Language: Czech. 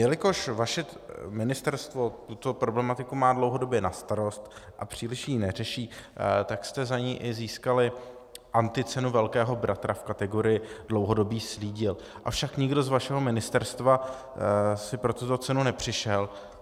Jelikož vaše ministerstvo tuto problematiku má dlouhodobě na starost a příliš ji neřeší, tak jste za ni i získali anticenu Velkého bratra v kategorii dlouhodobý slídil, avšak nikdo z vašeho ministerstva si pro tuto cenu nepřišel.